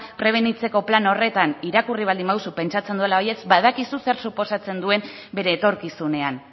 prebenitzeko plan horretan irakurri baldin baduzu pentsatzen dudala baietz badakizu zer suposatzen duen bere etorkizunean